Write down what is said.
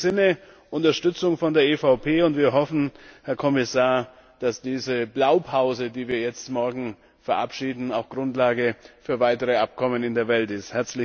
In dem Sinne Unterstützung von der EVP. Und wir hoffen, Herr Kommissar, dass diese Blaupause, die wir morgen verabschieden, auch Grundlage für weitere Abkommen in der Welt ist!